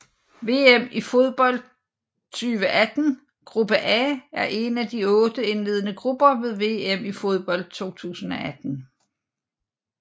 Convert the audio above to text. VM i fodbold 2018 gruppe A er en af otte indledende grupper ved VM i fodbold 2018